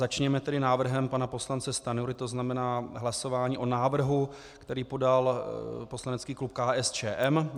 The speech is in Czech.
Začněme tedy návrhem pana poslance Stanjury, to znamená hlasování o návrhu, který podal poslanecký klub KSČM.